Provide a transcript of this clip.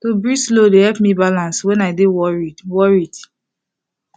to breathe slow dey help me balance when i dey worried worried